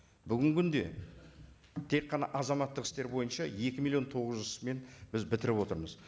бүгінгі күнде тек қана азаматтық істер бойынша екі миллион тоғыз жүз ісімен біз бітіріп отырмыз